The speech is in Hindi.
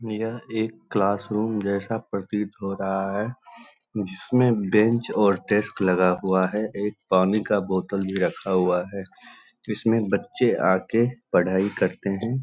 यह एक क्लास रूम जैसा प्रतीत हो रहा है जिसमे बेंच और डेस्क लगा हुआ है एक पानी का बोतल भी रखा हुआ है इसमें बच्चे आके पढाई करते है।